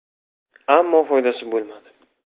Ammo foydasi bo‘lmadi.